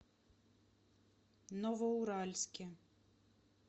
новоуральске